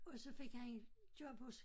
Og så fik han job hos